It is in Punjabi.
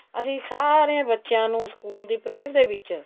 ਅਸੀਂ ਸਾਰੇ ਬੱਚਿਆਂ ਨੂੰ ਸਕੂਲ ਦੀ prayer ਦੇ ਵਿੱਚ